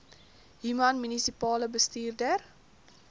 human munisipale bestuurder